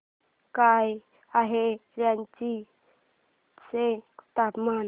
काय आहे रांची चे तापमान